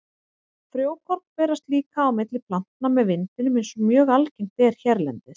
Frjókorn berast líka á milli plantna með vindinum eins og mjög algengt er hérlendis.